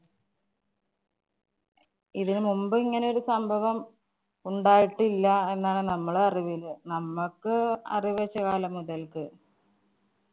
ഇതിനു മുമ്പ് ഇങ്ങനെ ഒരു സംഭവം ഉണ്ടായിട്ടില്ല എന്നാണ് നമ്മളെ അറിവില്. നമ്മക്ക് അറിവ് വെച്ച കാലം മുതല്‍ക്ക്‌